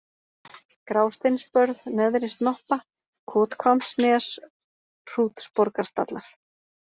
Grásteinsbörð, Neðri-Snoppa, Kothvammsnes, Hrútsborgarstallar